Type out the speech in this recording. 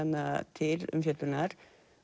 til umfjöllunar